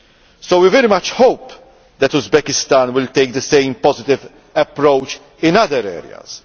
So we very much hope that Uzbekistan will take the same positive approach in other areas.